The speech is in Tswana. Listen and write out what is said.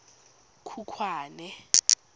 khukhwane